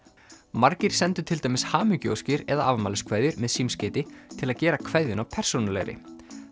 margir sendu til dæmis hamingjuóskir eða afmæliskveðjur með símskeyti til að gera kveðjuna persónulegri